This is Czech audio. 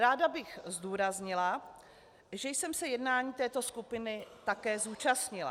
Ráda bych zdůraznila, že jsem se jednání této skupiny také zúčastnila.